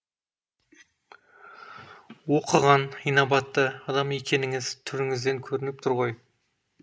оқыған инабатты адам екеніңіз түріңізден көрініп тұр ғой